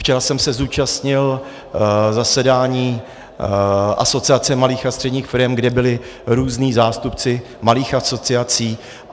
Včera jsem se zúčastnil zasedání Asociace malých a středních firem, kde byli různí zástupci malých asociací.